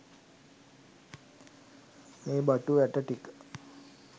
මේ බටු ඇටටික